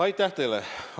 Aitäh teile!